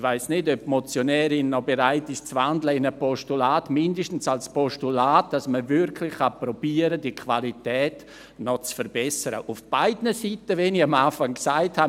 Ich weiss nicht, ob die Motionärin noch bereit ist in ein Postulat zu wandeln – mindestens als Postulat, damit man wirklich versuchen kann, diese Qualität noch zu verbessern, auf beiden Seiten, wie ich es am Anfang gesagt habe.